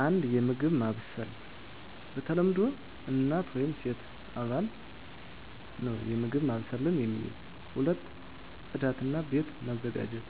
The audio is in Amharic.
1. የምግብ ማብሰል በተለምዶ እናት ወይም ሴት አባል ነው የምግብ ማብሰልን የሚይዝ። 2. ጽዳት እና ቤት መዘጋጀት